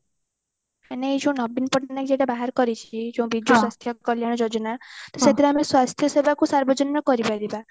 ମାନେ ଏଇ ଯୋଉ ନବୀନ ପଟ୍ଟନାୟକ ଯୋଉଟା ବାହାର କରିଚି ଯୋଉଁ ବିଜୁ ସ୍ୱାସ୍ଥ୍ୟ କଲ୍ୟାଣ ଯୋଜନା ତ ସେଥିରେ ଆମ ସ୍ଵାସ୍ଥ୍ୟ ସେବା କୁ ସାର୍ବଜନୀନ କରିପାରିବା